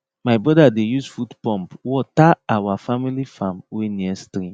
my brother dey use foot pump water our family farm wey near stream